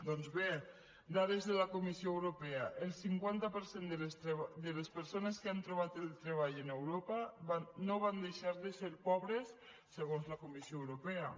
doncs bé dades de la comissió europea el cinquanta per cent de les persones que han trobat treball en europa no van deixar de ser pobres segons la comissió europea